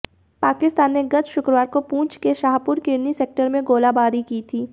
पाकिस्तान ने गत शुक्रवार को पुंछ के शाहपुर किरनी सेक्टर में गोलाबारी की थी